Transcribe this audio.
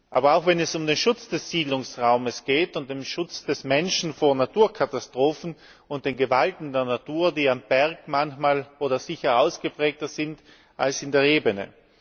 aber auch wenn es um den Schutz des Siedlungsraums geht, um den Schutz des Menschen vor Naturkatastrophen und den Gewalten der Natur, die am Berg sicher ausgeprägter sind als in der Ebene.